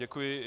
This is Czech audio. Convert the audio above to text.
Děkuji.